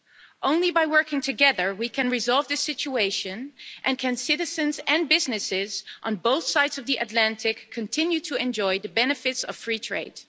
It is only by working together that we can resolve this situation and citizens and businesses on both sides of the Atlantic can continue to enjoy the benefits of free trade.